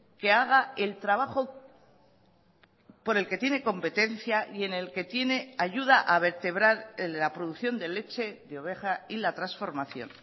que haga el trabajo por el que tiene competencia y en el que tiene ayuda a vertebrar el de la producción de leche de oveja y la transformación